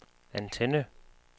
antenne